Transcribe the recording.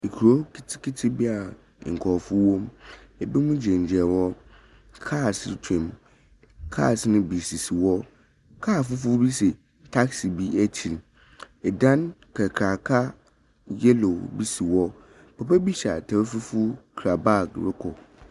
Nkuro nketenkete bi a nkorɔfo wɔ mu. Binom gyinagyina hɔ. Cars retwa mu. Cars no bi sisi hɔ. Car fofor bi si taxi bi ekyir. Dan kakraka yellow bi si hɔ. Papa bi hyɛ atar fufuw kura bag rokɔ.